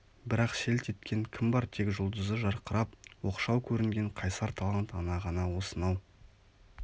бірақ селт еткен кім бар тек жұлдызы жарқырап оқшау көрінген қайсар талант ана ғана осынау